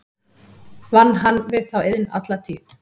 Vann hann við þá iðn alla tíð.